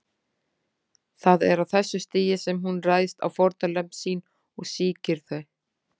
Það er á þessu stigi sem hún ræðst á fórnarlömb sín og sýkir þau.